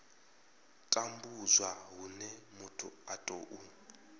tambudzwa hune muthu a tou